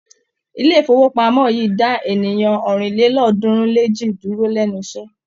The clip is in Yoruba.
Ilé-ìfowópamọ́ yìí dá ènìyàn ọ̀rìnlélọ́ọ̀ọ́dúnrún-lé-èjì dúró lẹ́nu iṣẹ́.